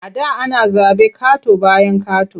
A da ana zaɓe ƙato-bayan ƙato.